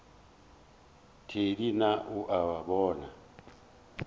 thedi na o a bona